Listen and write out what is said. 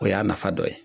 O y'a nafa dɔ ye